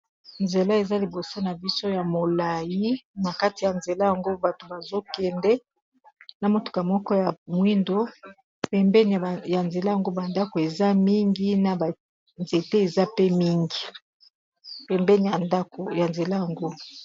Nzela eza libosa na biso ya molai na kati ya nzela yango bato bazokende na motuka moko ya mwindo, pembeni ya nzela yangu bandako eza mingi na banzete eza pe mingi pembeni dako ya nzela yangu.